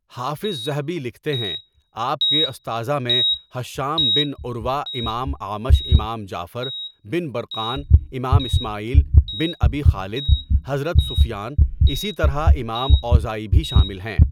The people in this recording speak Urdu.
حافظ ذھبی لکھتے ہیں آپ کے استاذہ میں ھشام بن عروہ امام اعمش امام جعفر بن برقان امام اسماعیل بن ابی خالد حضرت سفیان اسی طرح امام اوزاعی بھی شامل ہیں.